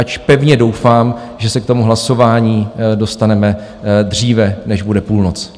Ač pevně doufám, že se k tomu hlasování dostaneme dříve, než bude půlnoc.